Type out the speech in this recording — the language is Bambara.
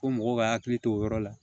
Ko mɔgɔw ka hakili to o yɔrɔ la